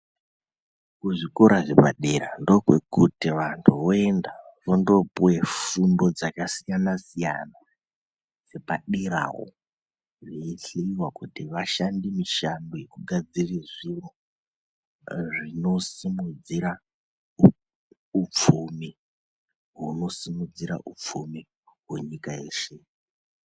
Kuzvikora zvepadera ndookwekuti vanthu voenda vondopuwe fundo dzakasiyana siyana dzepaderawo veichinwa kuti vashande mishando yekugadzira zviro zvinosimudzira upfumi hunosimudzira upfumi hwenyika yeshe.